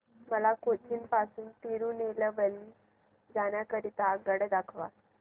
मला कोचीन पासून तिरूनेलवेली जाण्या करीता आगगाड्या दाखवा